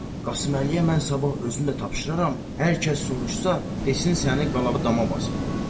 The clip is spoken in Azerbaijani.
Qasıməliyə mən sabah özüm də tapşıraram, hər kəs soruşsa, desin səni qala dama basıbdır.